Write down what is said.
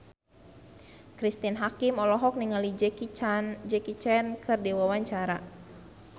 Cristine Hakim olohok ningali Jackie Chan keur diwawancara